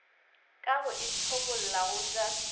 ka go ithobolla go ja